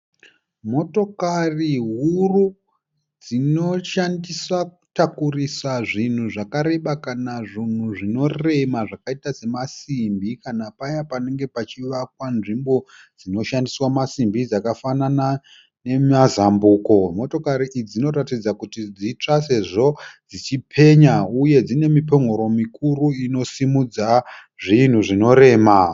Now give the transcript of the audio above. Motokari huru dzinoshandiswa kutakurisa zvinhu zvakareba kana zvunhu zvinorema zvakaita semasimbi kana paya panenge pachivakwa nzvimbo dzinoshandiswa masimbi dzakafanana nemazambuko. Motokari idzi dzinoratidza kuti dzitsva sezvo dzichipenya uye dzine mipon'oro mikuru inosimudza zvinhu zvinorema.